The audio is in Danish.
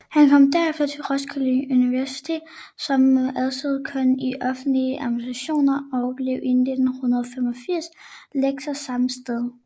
Han kom derefter til Roskilde Universitet som adjunkt i offentlig administration og blev i 1985 lektor samme sted